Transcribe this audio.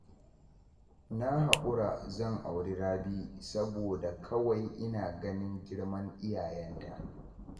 Na haƙura zan auri Rabi, saboda kawai ina ganin girman iyayenta.